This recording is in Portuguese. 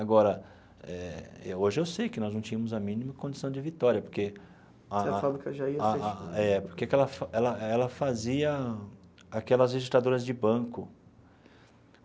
Agora, hoje eu sei que nós não tínhamos a mínima condição de vitória, porque a a. Porque a fábrica já ia fechar. É porque que ela ela ela fazia aquelas registradoras de banco.